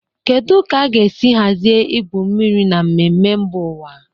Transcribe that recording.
Kedu ka a ga-esi hazie igwu mmiri na mmemme mba ụwa?